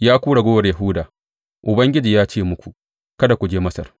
Ya ku raguwar Yahuda, Ubangiji ya ce muku, Kada ku je Masar.’